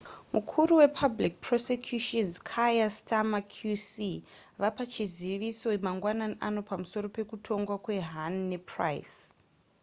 mukuru wepublic prosecutions kier starmer qc vapa chizivizo mangwanani ano pamusoro pekutongwa kwahuhne napryce